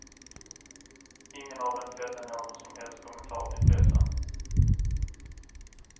Ingen av dem fällde någon som helst kommentar till pressen.